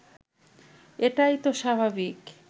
এটাই তো স্বাভাবিক